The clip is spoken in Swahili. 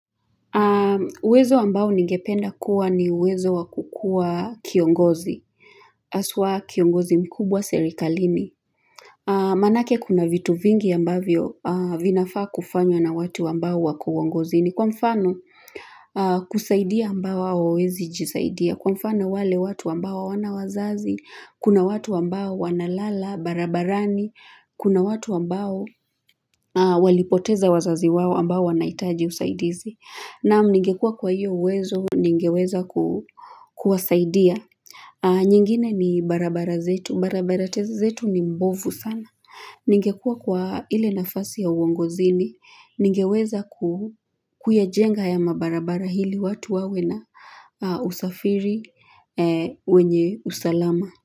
Uwezo ambao ningependa kuwa ni uwezo wa kukuwa kiongozi, haswa kiongozi mkubwa serikalini. Maanake kuna vitu vingi ambavyo vinafaa kufanywa na watu ambao wako uongozini kwa mfano kusaidia ambao hawawezi jisaidia. Kwa mfano wale watu ambao hawana wazazi, kuna watu ambao wanalala, barabarani, kuna watu ambao walipoteza wazazi wao ambao wanahitaji usaidizi. Naam ningekuwa kwa hiyo uwezo, ningeweza kuwasaidia. Nyingine ni barabara zetu, barabara zetu ni mbovu sana. Ningekuwa kwa ile nafasi ya uongozini, ningeweza kuyajenga haya mabarabara ili watu wawe na usafiri wenye usalama.